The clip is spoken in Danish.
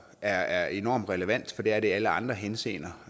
er enormt relevant og det er det i alle andre henseender